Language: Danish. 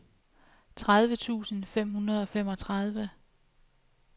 tredive tusind fem hundrede og femogtredive